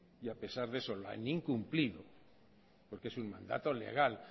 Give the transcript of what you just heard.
y a pesar de eso lo han incumplido porque es un mandato legal